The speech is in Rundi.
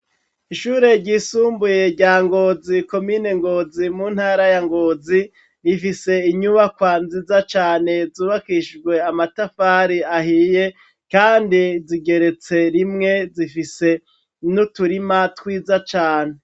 Ishuri ryisumbuye rya Ngozi komine Ngozi mu ntara ya Ngozi, rifise inyubakwa nziza cane zubakishijwe amatafari ahiye kandi zigeretse rimwe zifise n'uturima twiza cane.